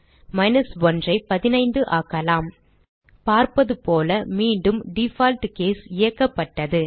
1 ஐ 15 ஆக்கலாம் பார்ப்பதுபோல மீண்டும் டிஃபால்ட் கேஸ் இயக்கப்பட்டது